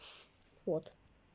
от